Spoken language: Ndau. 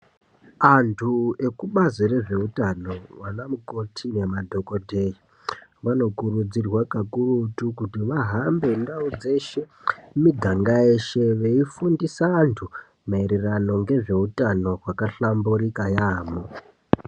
Antu ekubazi rezveutano vana mukoti nemadhogodheya. Vanokurudzirwa kakurutu kuti vahambe ndau dzeshe miganga yeshe veifundisa vantu maereano ngezveutano vakahlamburuka yaamho.